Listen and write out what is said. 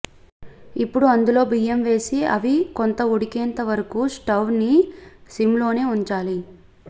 ఇప్పుడు అందులో బియ్యం వేసి అవి కొంత ఉడికేంత వరకు స్టవ్ని సిమ్లోనే వుంచాలి